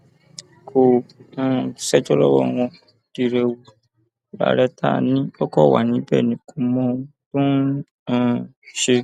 kò um ṣẹjọ lọwọ wọn dírẹwú làárẹ tá a ní ó kàn wà níbẹ ni kò mọ ohun tó ń um ṣe